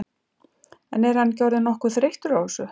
En er hann ekki orðinn nokkuð þreyttur á þessu?